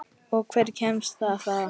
Og hver kemst þar að?